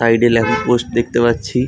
Side এ লেখা post দেখতে পাচ্ছি।